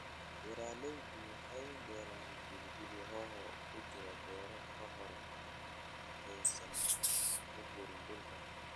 Beeralaydu waxay beeraan pilipili hoho kujira beero kahor intaaysan uguurin dhulka.